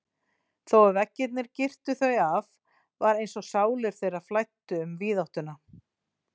Þó að veggirnir girtu þau af var einsog sálir þeirra flæddu um víðáttuna.